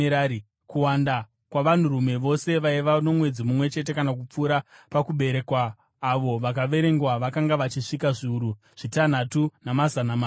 Kuwanda kwavanhurume vose vaiva nomwedzi mumwe chete, kana kupfuura, pakuberekwa avo vakaverengwa, vakanga vachisvika zviuru zvitanhatu, namazana maviri.